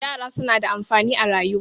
yara suna da amfani a rayuwa